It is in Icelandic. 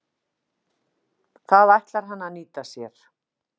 Það ætlar hann að nýta sér.